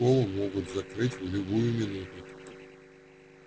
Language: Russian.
школу могут закрыть в любую минуту